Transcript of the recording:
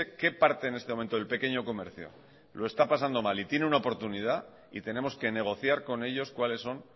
qué parte en este momento del pequeño comercio lo está pasando mal y tiene una oportunidad y tenemos que negociar con ellos cuáles son